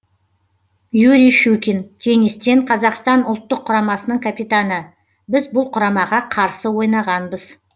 юрий щукин теннистен қазақстан ұлттық құрамасының капитаны біз бұл құрамаға қарсы ойнағанбыз